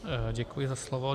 Děkuji za slovo.